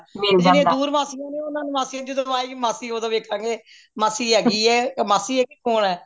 ਤੇ ਜੇਦੀਆਂ ਦੂਰ ਮਾਸੀਆਂ ਨੇ ਓਹਨਾ ਨੂੰ ਮਾਸੀ ਜਦੋ ਆਏ ਗਈ ਮਾਸੀ ਓਦੋ ਵੇਖਾਂਗੇ ਮਾਸੀ ਹੈਗੀਏ ਮਾਸੀ ਏ ਕੇ ਕੌਣ ਏ